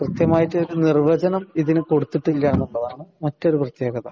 കൃത്യമായിട്ട്‌ ഇതിനു നിര്‍വചനം ഇതിനു കൊട്ടുത്തിട്ടില്ല എന്നുള്ളതാണ് മറ്റൊരു പ്രത്യേകത.